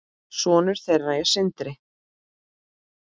Sonur þeirra er Sindri.